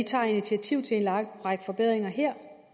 tager initiativ til en lang række forbedringer her